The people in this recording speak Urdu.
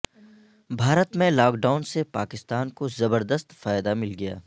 بھارت میں لاک ڈائون سے پاکستان کو زبردست فائدہ مل گیا